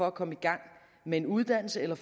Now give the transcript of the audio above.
at komme i gang med en uddannelse eller